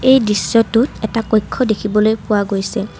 এই দৃশ্যটোত এটা কক্ষ দেখিবলৈ পোৱা গৈছে।